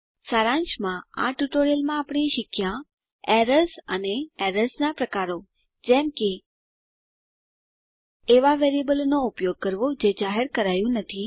સારાંશમાં આ ટ્યુટોરીયલમાં આપણે શીખ્યાં એરર્સ અને એરર્સ નાં પ્રકારો જેમ કે એવાં વેરિએબલ નો વપરાશ કરવો જે જાહેર થયું નથી